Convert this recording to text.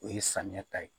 O ye samiya ta ye